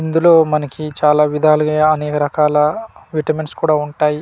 ఇందులో మనకి చాలా విధాలు అనేక రకాల వీటమిన్స్ ఉంటాయి.